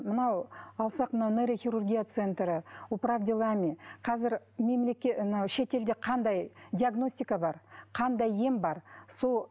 мынау алсақ мынау нейрохирургия центрі управ делами қазір анау шетелде қандай диагностика бар қандай ем бар сол